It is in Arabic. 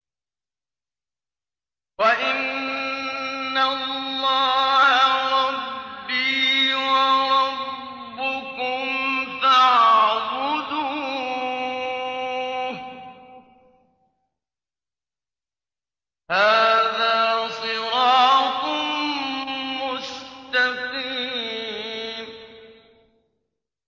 وَإِنَّ اللَّهَ رَبِّي وَرَبُّكُمْ فَاعْبُدُوهُ ۚ هَٰذَا صِرَاطٌ مُّسْتَقِيمٌ